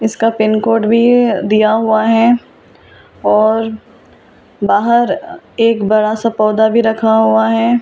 इसका pin code भी दिया हुआ है और बाहर एक बड़ा सा पौधा भी रखा हुआ है।